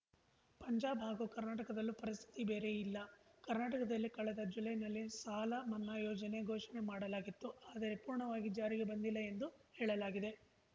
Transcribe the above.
ಪಂಜಾಬ್‌ ಹಾಗೂ ಕರ್ನಾಟಕದಲ್ಲೂ ಪರಿಸ್ಥಿತಿ ಬೇರೆ ಇಲ್ಲ ಕರ್ನಾಟಕದಲ್ಲಿ ಕಳೆದ ಜುಲೈನಲ್ಲಿ ಸಾಲ ಮನ್ನಾ ಯೋಜನೆ ಘೋಷಣೆ ಮಾಡಲಾಗಿತ್ತು ಆದರೆ ಪೂರ್ಣವಾಗಿ ಜಾರಿಗೆ ಬಂದಿಲ್ಲ ಎಂದು ಹೇಳಲಾಗಿದೆ